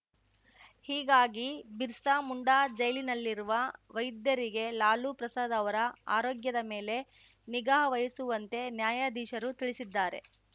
ಹೀಗಾಗಿ ಬಿರ್ಸಾ ಮುಂಡಾ ಜೈಲಿನಲ್ಲಿರುವ ವೈದ್ಯರಿಗೆ ಲಾಲು ಪ್ರಸಾದ್‌ ಅವರ ಆರೋಗ್ಯದ ಮೇಲೆ ನಿಗಾ ವಹಿಸುವಂತೆ ನ್ಯಾಯಾಧೀಶರು ತಿಳಿಸಿದ್ದಾರೆ